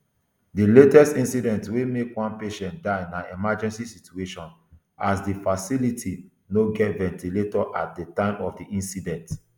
di latest incident wey make one patient die na emergency situation as di facility no get ventilator at di time of di incident